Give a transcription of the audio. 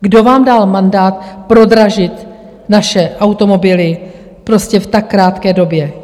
Kdo vám dal mandát prodražit naše automobily prostě v tak krátké době?